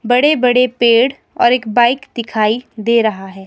बड़े बड़े पेड़ और एक बाइक दिखाई दे रहा है।